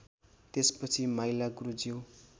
त्यसपछि माइला गुरुज्यू